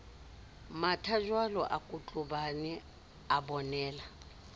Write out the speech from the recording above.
mathajwalo a kotlobane a bonela